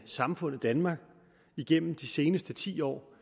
samfundet danmark igennem de seneste ti år